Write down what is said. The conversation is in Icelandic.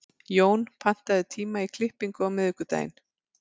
Jón, pantaðu tíma í klippingu á miðvikudaginn.